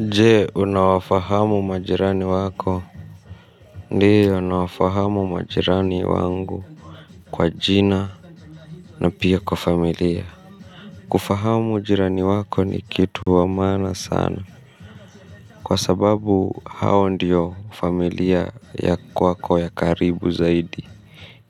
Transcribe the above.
Nje unawafahamu majirani wako ndiyo nawafahamu majirani wangu kwa jina na pia kwa familia kufahamu ujirani wako ni kitu wamana sana kwa sababu hao ndiyo familia ya kwako ya karibu zaidi